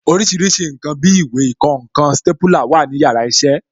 Orísìírísìí ǹkan bí ìwé, ìkọǹkan, stépúlà wà ní yàrá iṣẹ́